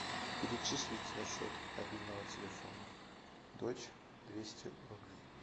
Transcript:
перечислить на счет мобильного телефона дочь двести рублей